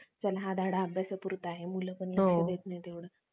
चला हा धडा अभ्यासापुरता आहे मुलं पण लक्ष देत नाहीत तेवढं